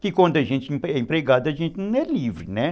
Que quando a gente é empregado, a gente não é livre, né?